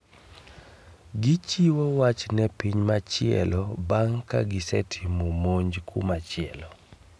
Gichiwo wach ne piny machielo bang' ka gisetimo monj kumachielo